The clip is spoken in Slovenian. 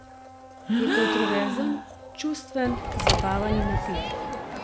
Je kontroverzen, čustven, zabaven in napet.